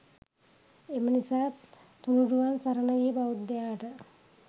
එම නිසා තුණුරුවන් සරණ ගිය බෞද්ධයාට